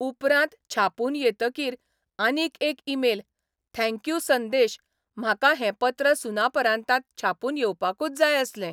उपरांत छापून येतकीर आनीक एक ई मेल 'थँक्यू संदेश, म्हाका हें पत्र सुनापरान्तांत छापून येवपाकूच जाय आसलें.